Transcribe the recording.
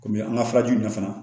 Komi an ka furajiw ɲɛfan